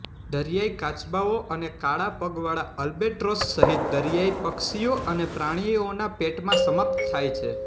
દરિયાઇ કાચબાઓ અને કાળા પગવાળા અલ્બેટ્રોસ સહિત દરિયાઇ પક્ષીઓ અને પ્રાણીઓના પેટમાં સમાપ્ત થાય છે